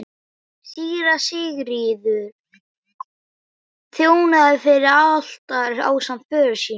Síra Sigurður þjónaði fyrir altari ásamt föður sínum.